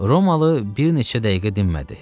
Romalı bir neçə dəqiqə dinmədi.